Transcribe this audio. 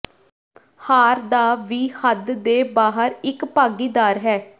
ਹਾਰ ਦਾ ਵੀ ਹੱਦ ਦੇ ਬਾਹਰ ਇੱਕ ਭਾਗੀਦਾਰ ਹੈ